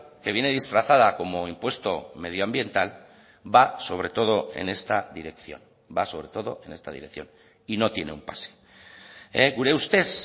que viene disfrazada como impuesto medioambiental va sobre todo en esta dirección va a sobre todo en esta dirección y no tiene un pase gure ustez